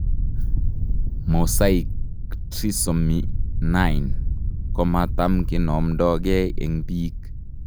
mosaic trisomy 9 komatam kinomdoge en pik.